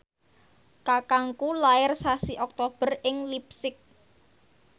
kakangku lair sasi Oktober ing leipzig